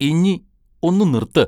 ഇഞ്ഞി ഒന്നു നിർത്ത്!